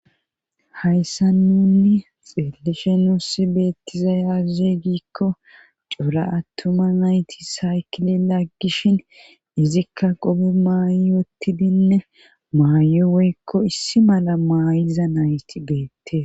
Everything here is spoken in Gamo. hayssa nunni xeelishe nuussi beettiza yaze giikko cuura attuma nayti saykile laggishin izikka qobe maayi yottidinne maaye weyekko issi mala maayiza nayti beette